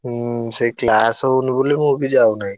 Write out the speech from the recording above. ହୁଁ ସେଇ class ହଉନି ବୋଲି ମୁଁ ବି ଯାଉନାଇ।